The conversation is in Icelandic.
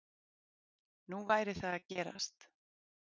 Nú væri það að gerast